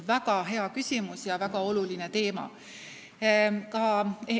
Väga hea küsimus ja väga oluline teema!